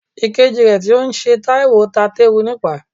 Ìkejì rẹ tí ó ń ṣe Taiwo ta teru nípaa.